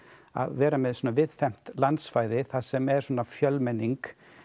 að vera með svona víðfeðmt landsvæði þar sem er svona fjölmenning